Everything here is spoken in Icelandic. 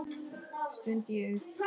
stundi ég upp.